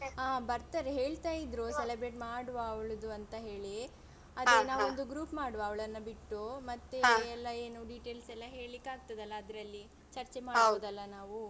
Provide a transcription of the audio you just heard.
ಹಾ ಬರ್ತಾರೆ ಹೇಳ್ತಾ ಇದ್ರು celebrate ಮಾಡುವ ಅವ್ಳದು ಅಂತ ಹೇಳಿ ಅದೆ ನಾವು ಒಂದು group ಮಾಡುವ ಅವಳನ್ನ ಬಿಟ್ಟು ಮತ್ತೆ ಎಲ್ಲ ಏನು details ಎಲ್ಲ ಕೇಳಿಕ್ಕಾಗ್ತದಲ್ಲ ಅದ್ರಲ್ಲಿ ಚರ್ಚೆ ಮಾಡ್ಬೋದಲ್ಲ ನಾವು.